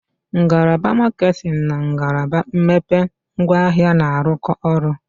Ngalaba maketin na ngalaba mmepe ngwaahịa na-arụkọ ọrụ.